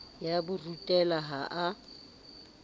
ya ho rutela ha a